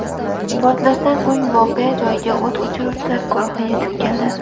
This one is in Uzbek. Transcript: Portlashdan so‘ng voqea joyiga o‘t o‘chiruvchilar guruhi yetib keldi.